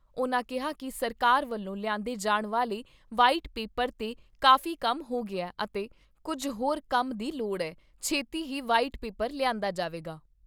ਉਨ੍ਹਾਂ ਕਿਹਾ ਕਿ ਸਰਕਾਰ ਵੱਲੋਂ ਲਿਆਂਦੇ ਜਾਣ ਵਾਲੇ ਵਾਇਟ ਪੇਪਰ 'ਤੇ ਕਾਫ਼ੀ ਕੰਮ ਹੋ ਗਿਆ ਅਤੇ ਕੁੱਝ ਹੋਰ ਕੰਮ ਦੀ ਲੋੜ ਐ, ਛੇਤੀ ਹੀ ਵਾਇਟ ਪੇਪਰ ਲਿਆਂਦਾ ਜਾਵੇਗਾ।